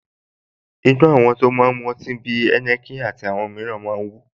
Inú àwọn tó máa ń mu ọtí bí i Heineken àti àwọn mìíràn máa ń wú